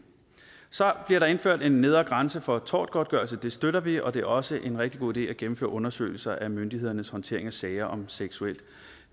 så bliver der indført en nedre grænse for tortgodtgørelse det støtter vi og det er også en rigtig god idé at gennemføre undersøgelser af myndighedernes håndtering af sager om seksuelt